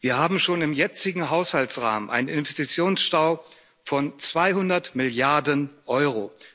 Wir haben schon im jetzigen Haushaltsrahmen einen Investitionsstau von 200 Milliarden Euro.